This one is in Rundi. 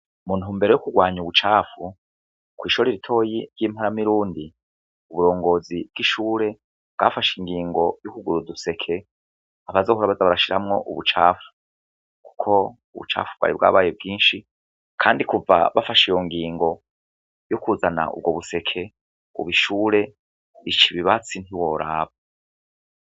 Mu ntumbero yo kugwanya ubucafu, kw'ishure ritoyi ry'i Mparamidundi, uburongozi bw'ishure bwafashe ingingo yo kugura uduseka bazohora baza barashiramwo ubucafu. Kuko ubucafu bwari bwabaye bwinshi kandi kuva bafashe iyo ngingo yo kuzana ubwo buseke, ubu ishure rica ibibatsi ntiworaba.